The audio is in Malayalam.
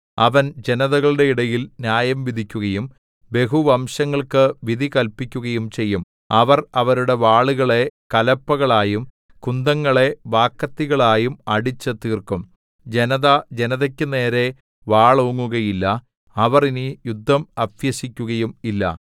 അവൻ ജനതകളുടെ ഇടയിൽ ന്യായം വിധിക്കുകയും ബഹുവംശങ്ങൾക്കു വിധി കല്പിക്കുകയും ചെയ്യും അവർ അവരുടെ വാളുകളെ കലപ്പകളായും കുന്തങ്ങളെ വാക്കത്തികളായും അടിച്ചുതീർക്കും ജനത ജനതക്കു നേരെ വാളോങ്ങുകയില്ല അവർ ഇനി യുദ്ധം അഭ്യസിക്കുകയും ഇല്ല